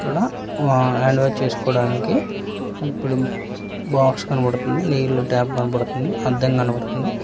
ఇక్కడ ఆ hand wash చేసుకోవడానికి ఇప్పుడు బాక్స్ కనపడుతుంది నీళ్ళు ట్యాప్ కనపడుతుంది అద్దం కనపడుతుంది.